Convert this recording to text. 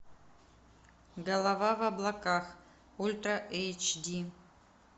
голова в облаках ультра эйч ди